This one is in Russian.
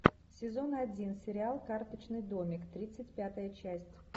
сезон один сериал карточный домик тридцать пятая часть